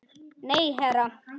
Nei, herra